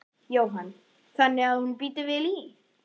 Jóhann: Þannig að hún bíti vel í?